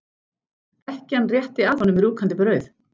Ekkjan rétti að honum rjúkandi brauð.